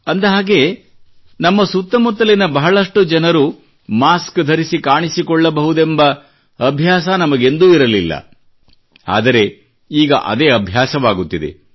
ಅಂದಹಾಗೆ ನಮ್ಮ ಸುತ್ತಮುತ್ತಲಿನ ಬಹಳಷ್ಟು ಜನರು ಮಾಸ್ಕ್ ಧರಿಸಿ ಕಾಣಿಸಿಕೊಳ್ಳಬಹುದೆಂಬ ಅಭ್ಯಾಸ ನಮಗೆಂದೂ ಇರಲಿಲ್ಲ ಆದರೆ ಈಗ ಇದೇ ಅಭ್ಯಾಸವಾಗುತ್ತಿದೆ